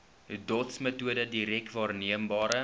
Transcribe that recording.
dotsmetode direk waarneembare